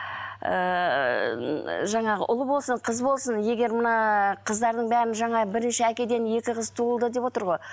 ыыы жаңағы ұл болсын қыз болсын егер мына қыздардың бәрін жаңа бірінші әкеден екі қыз туылды деп отыр ғой